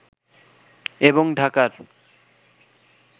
এবং ঢাকার